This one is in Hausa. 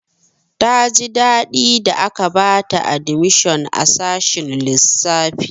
Ta ji daɗi da aka bata admishon a sashin lissafi.